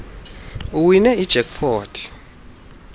uwine ijack pot